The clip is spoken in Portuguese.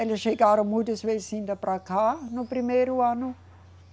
Eles chegaram muitas vezes indo para cá no primeiro ano.